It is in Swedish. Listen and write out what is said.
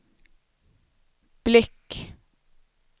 blick